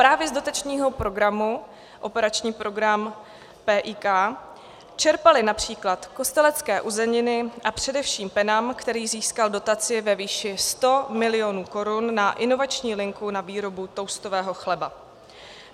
Právě z dotačního programu, operační program PIK, čerpaly například Kostelecké uzeniny a především Penam, který získal dotaci ve výši 100 milionů korun na inovační linku na výrobu toustového chleba.